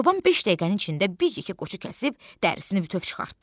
Çoban beş dəqiqənin içində bir yekə qoçu kəsib, dərisini bütöv çıxartdı.